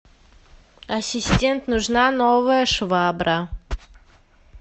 ассистент нужна новая швабра